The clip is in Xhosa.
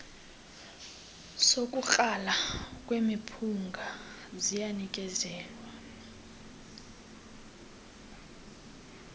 sokukrala kwemiphunga ziyanikezelwa